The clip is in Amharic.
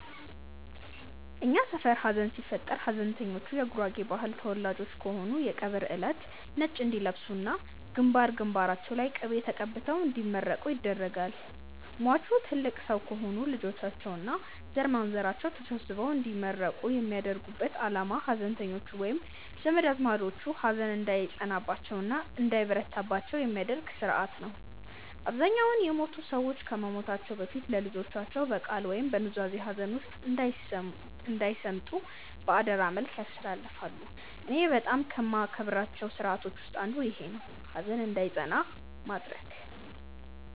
እኛ ሰፈር ሀዘን ሲፈጠር ሀዘንተኞቹ የጉራጌ ባህል ተወላጆች ከሆኑ የቀብር እለት ነጭ እንዲለብሱ እና ግንባር ግንባራቸው ላይ ቅቤ ተቀብተው እንዲመረቁ ይደረጋል። ሟቹ ትልቅ ሰው ከሆኑ ልጆቻቸው እና ዘርማንዘራቸው ተሰብስበው እንዲመረቁ የሚያደርጉበት አላማ ሀዘንተኞቹ ወይም ዘመድ አዝማዶቹ ሀዘን እንዳይጸናባቸው እና እንዳይበረታባቸው የሚደረግበት ስርአት ነው። አብዛኛውን የሞቱት ሰዎች ከመሞታቸው በፊት ለልጆቻቸው በቃል ወይም በኑዛዜ ሀዘን ውስጥ እንዳይሰምጡ በአደራ መልክ ያስተላልፋሉ። እኔ በጣም ከማከብራቸው ስርአቶች ውስጥ አንዱ ይኼ ነው፣ ሀዘን እንዳይጸና ማድረግ።